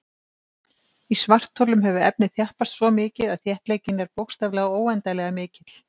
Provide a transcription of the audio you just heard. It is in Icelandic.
Í svartholum hefur efnið þjappast svo mikið að þéttleikinn er bókstaflega óendanlega mikill.